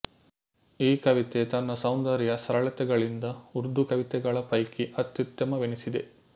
ಈ ಕವಿತೆ ತನ್ನ ಸೌಂದರ್ಯ ಸರಳತೆಗಳಿಂದ ಉರ್ದುಕವಿತೆಗಳ ಪೈಕಿ ಅತ್ಯುತ್ತಮವೆನಿಸಿದೆ